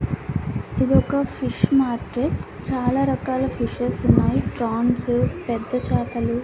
ఇది ఒక fish market చాలారకాల ఫీషెస్ ఉన్నాయి ఫ్రాన్స్ పెద్ద చేపలు.